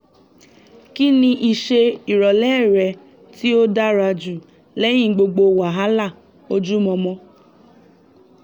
kí ni ìṣe ìrọ̀lẹ́ rẹ tí ó dára jù lẹ́yìn gbogbo wàhálà ojúmọmọ?